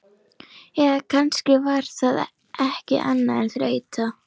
Eða kannski var það ekki annað en þreyta.